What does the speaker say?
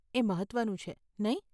એ મહત્વનું છે, નહીં?